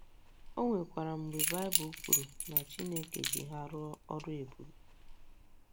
O nwekwara mgbe Baịbụl kwuru na Chineke ji ha rụọ ọrụ ebube.